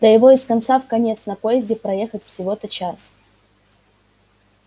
да его из конца в конец на поезде проехать всего-то час